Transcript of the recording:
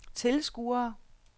tilskuere